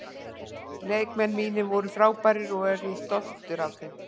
Leikmenn mínir voru frábærir og ég er stoltur af þeim.